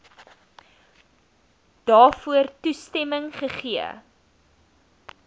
daarvoor toestemming gegee